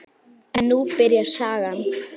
En nú byrjar sagan.